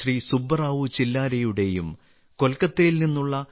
സുബ്ബറാവു ചില്ലാരയുടെയും കൊൽക്കത്തയിൽ നിന്നുള്ള ശ്രീ